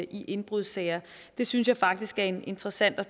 i indbrudssager det synes jeg faktisk er en interessant og